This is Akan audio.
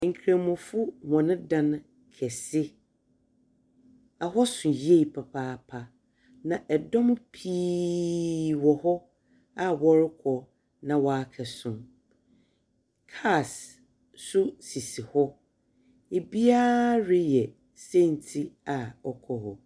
Nkramofo hɔn dan kɛse. Ɛhɔ so yie papaapa, na dɔm pii wɔ hɔ a wɔrekɔ, na wɔakɔsom. Cars nso sisi hɔ. Ibiara reyɛ sɛnti a ɔkɔɔ hɔ.